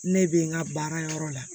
Ne bɛ n ka baara yɔrɔ la